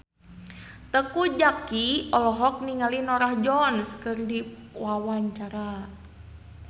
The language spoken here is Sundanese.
Teuku Zacky olohok ningali Norah Jones keur diwawancara